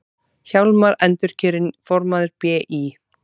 Hjálmar endurkjörinn formaður BÍ